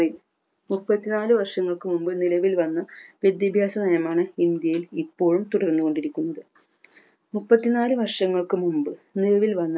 മുപ്പത്തിനാല് വർഷങ്ങൾക്ക് മുമ്പ് നിലവിൽവന്ന വിദ്യാഭ്യാസ നയമാണ് ഇന്ത്യയിൽ ഇപ്പോഴും തുടർന്നു കൊണ്ടിരിക്കുന്നത് മുപ്പത്തിനാല് വർഷങ്ങൾക്ക് മുമ്പ് നിലവിൽ വന്ന